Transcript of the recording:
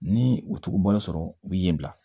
Ni u tugu bɔlɔ sɔrɔ u bi ye bila